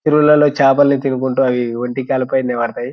ఊర్లలో చేపల్ని తినుకుంటు ఒంటి కాళ్ళ ఫై నిలబడతాయి.